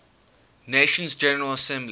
nations general assembly